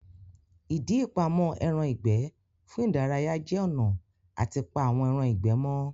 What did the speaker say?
Ìdí ìpamọ́ ẹran ìgbẹ́ fún ìdárayá jẹ́ ọ̀nà àti pa àwọn ẹran ìgbẹ́ mọ́